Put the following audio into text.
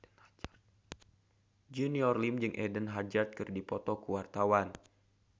Junior Liem jeung Eden Hazard keur dipoto ku wartawan